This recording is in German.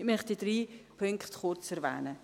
Ich möchte drei Punkte kurz erwähnen.